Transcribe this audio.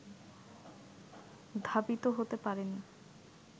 ধাবিত হতে পারেনি